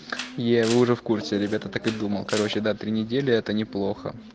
я уже в курсе ребята так и думал короче да три недели это неплохо